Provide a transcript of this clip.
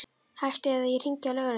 Hættu eða ég hringi á lögregluna!